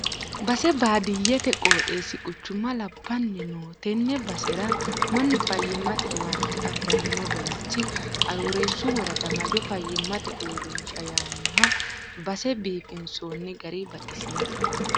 Base baadiyyete qooxeesi quchuma labbanni no tene basera mannu fayyimate owaante afirano bayicho Aroorreesu worada Majo fayyimate uurrinsha yaanoho base biifinsonni gari baxisinoe.